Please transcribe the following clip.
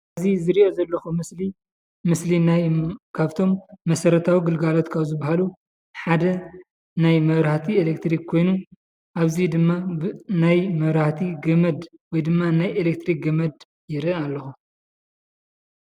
እዚ ዝሪኦ ዘለኩ ምስሊ ምስሊናይ ካብቶም ናይ መሰረታዊ ግልጋሎት ካብ ዝበሃሉ ሓደ ናይ መብራህቲ ኤሌክትሪክ ኮይኑ ኣብዚ ድማ ናይ መብራህቲ ገመድ ወይ ድማ ናይ ኤሌክትሪክ ገመድ ይሪኢ ኣለኩ።